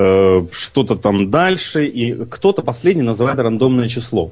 что-то там дальше и кто-то последний называет рандомное число